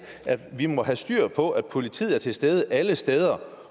vi må have styr på at politiet er til stede alle steder